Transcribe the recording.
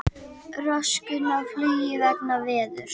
Röskun á flugi vegna veðurs